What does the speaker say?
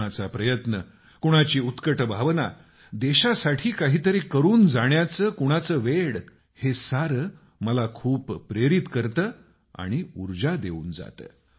कुणाचा प्रयत्न कुणाची उत्कट भावना देशासाठी काही तरी करून जाण्याचं कुणाचं वेड हे सारं मला खूप प्रेरित करतं आणि उर्जा देऊन जातं